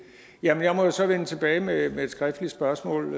jeg må jo så vende tilbage med et skriftligt spørgsmål